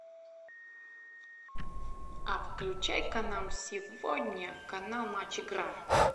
а включай ка нам сегодня канал матч игра